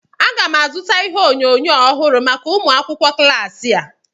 Aga m azụta ihe onyonyo ọhụrụ maka ụmụ akwụkwọ klas a